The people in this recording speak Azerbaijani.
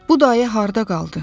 Bu dayə harda qaldı?